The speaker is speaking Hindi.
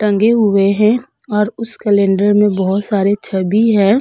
टंगे हुए है और उस कैलंडर में बहोत सारे छवि है।